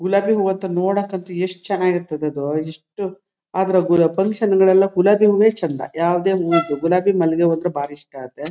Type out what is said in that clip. ಗುಲಾಬಿ ಹೂವು ಅಂತು ನೋಡಕಂತು ಯಷ್ಟು ಚನ್ನಾಗಿ ಇರತದದ್ದು ಎಷ್ಟು ಆದ್ರೆ ಫಕ್ಕಷನ್ಗಳಿಗೆಲ್ಲಾ ಗುಲಾಬಿ ಹೂವು ಚೆಂದಾ ಯಾವದೇ ಹೂವುಗು ಗುಲಾಬಿ ಮಲ್ಲಿಗೆ ಹೂವು ಅಂದ್ರೆ ಬಾರಿ ಇಷ್ಟ ಆಗುತ್ತೆ.